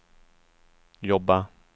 jobba